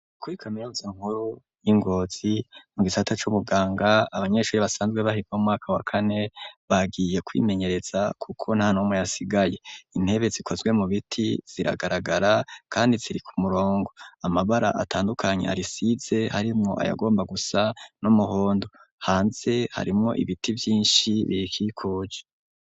Kuri kamiuza nkuru y'i Ngozi mu gisata c'ubuganga abanyeshure basanzwe bari mu mwaka wa kane bagiye kwimenyereza kuko nta numwe yasigaye. Intebe zikozwe mu biti ziragaragara kandi ziri ku murongo, amabara atandukanye arisize harimwo ayagomba gusa n'umuhondo. Hanze harimwo ibiti byinshi birikikuje.